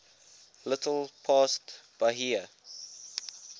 little past bahia